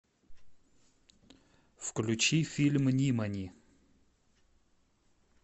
включи фильм нимани